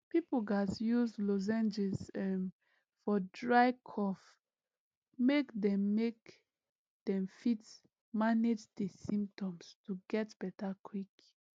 pipo gatz use lozenges um for dry cough make dem make dem fit manage di symptoms to get beta quick